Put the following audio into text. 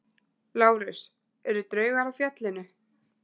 LÁRUS: Eru draugar á fjallinu?